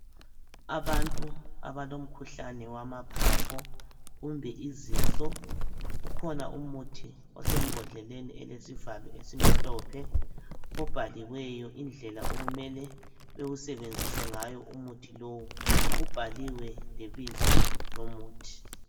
Abantu abalomkhuhlani wamaphapho kumbe izinso kukhona umuthi osembodleleni elesivalo esimhlophe obhaliweyo indlela okumele bewusebenzise ngayo umuthi lowu ubhaliwe lebizo lumuthi.